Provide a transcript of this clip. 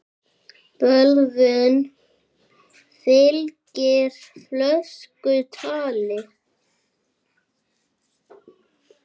Bölvun fylgir fölsku tali.